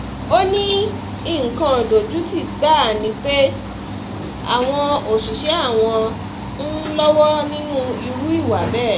ó ní nǹkan ìdojútì gbáà ni pé àwọn òṣìṣẹ́ àwọn ń lọ́wọ́ nínú irú ìwà bẹ́ẹ̀